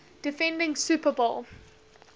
defending super bowl